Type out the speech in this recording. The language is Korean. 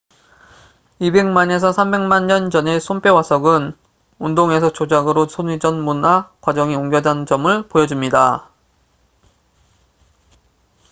2백만에서 3백만 년 전의 손뼈 화석은 운동에서 조작으로 손의 전문화 과정이 옮겨간 점을 보여줍니다